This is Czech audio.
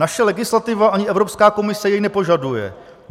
Naše legislativa ani Evropská komise jej nepožaduje.